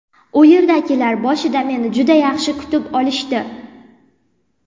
U yerdagilar boshida meni juda yaxshi kutib olishdi.